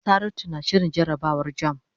Saratu na shirin jarabawar jamb.